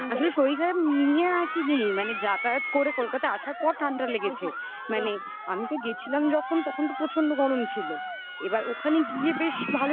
আসলে শরীর খারাপ নিয়ে আসেনি মানে যাতায়াত করে কলকাতায় আসার পর ঠান্ডা লেগেছে. মানে আমি তো গেছিলাম যখন তখন তো প্রচন্ড গরম ছিল এবার ওখানে গিয়ে বেশ